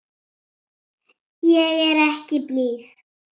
Ég er ekki blíð.